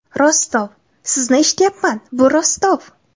Rostov: Sizni eshityapman, bu Rostov.